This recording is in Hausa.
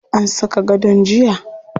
An saka gadon jiya.